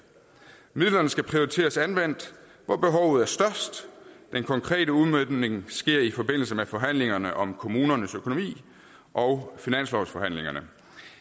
midlerne skal prioriteres anvendt hvor behovet er størst den konkrete udmøntning sker i forbindelse med forhandlingerne om kommunernes økonomi og finanslovsforhandlingerne